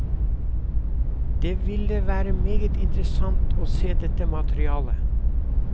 Det ville være meget interessant å se dette materialet.